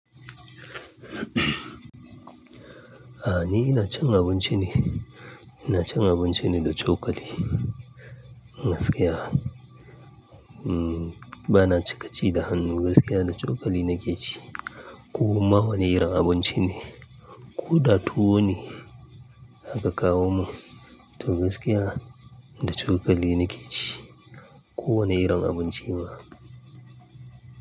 A'a ni ina cin abinci ne, ina cin abinci ne da cokali. Gaskiya. uMm ba na cika ci da hannu, gaskiya da cokali nake ci. Ko ma wane irin abinci ne ko da tuwa ne aka kawo mun, to gaskiya da cokali nake ci ko wane irin abinci ma.